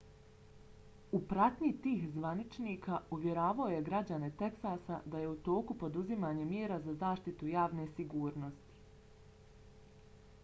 u pratnji tih zvaničnika uvjeravao je građane teksasa da je u toku poduzimanje mjera za zaštitu javne sigurnosti